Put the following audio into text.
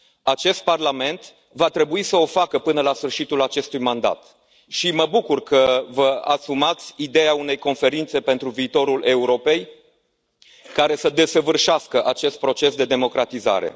Acest Parlament va trebui să o facă până la sfârșitul acestui mandat și mă bucur că vă asumați ideea unei conferințe pentru viitorul Europei, care să desăvârșească acest proces de democratizare.